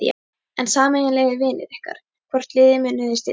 En sameiginlegir vinir ykkar, hvort liðið munu þeir styðja?